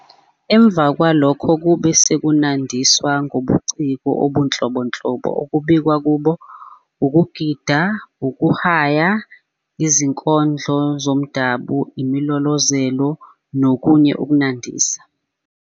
Emva kwalokho kube sekunandiswa ngobuciko obunhlobonhlobo okubalwa kubo, ukugida, ukuhaya, izinkondlo zomdabu, imilolozelo, nokunye kokunandisa.